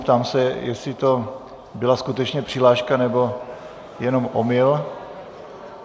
Ptám se, jestli to byla skutečně přihláška, nebo jenom omyl.